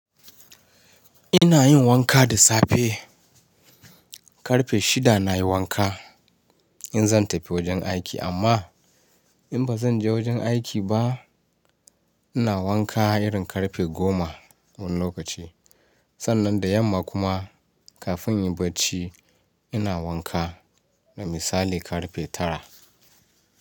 Ina yin wanka da safe. Karfe shida na yi wanka, in zan tafi wajen aiki, amma, in ba zan je wajen aiki ba, ina wanka irin karfe goma, wani lokaci. Sannan da yamma kuma kafin in yi bacci, ina wanka, da misali karfe tara.